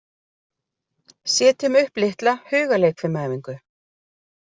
Setjum upp litla hugarleikfimiæfingu.